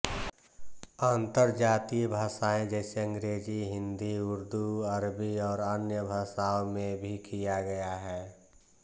अंतरजातीय भाषाएँ जैसे अंग्रेज़ी हिंदी उर्दू अरबी और अन्य भाषाओं में भी किया गया है